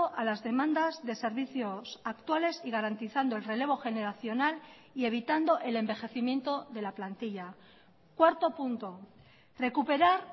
a las demandas de servicios actuales y garantizando el relevo generacional y evitando el envejecimiento de la plantilla cuarto punto recuperar